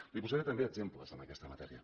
li posaré també exemples en aquesta matèria